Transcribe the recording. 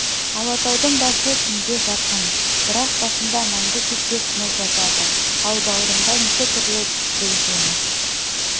алатаудың басы күнге жақын бірақ басында мәңгі кетпес мұз жатады ал бауырында неше түрлі гүл жеміс